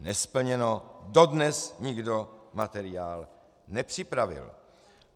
Nesplněno, dodnes nikdo materiál nepřipravil.